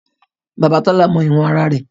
Bàbá Tọ́lá mọ ìwọ̀n ara rẹ̀